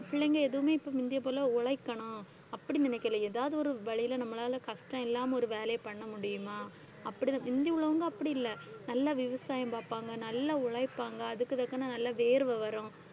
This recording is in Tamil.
பிள்ளைங்க எதுவுமே இப்ப முந்திய போல உழைக்கணும் அப்படி நினைக்கலை ஏதாவது ஒரு வழியில நம்மளால கஷ்டம் இல்லாம ஒரு வேலையைப் பண்ண முடியுமா அப்படிதான். முந்தி உள்ளவங்க அப்படி இல்லை நல்லா விவசாயம் பாப்பாங்க, நல்லா உழைப்பாங்க, அதுக்கு தக்கன நல்ல வேர்வை வரும்